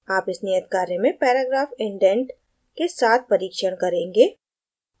आप इस नियत कार्य में paragraph indent के साथ परीक्षण करेंगे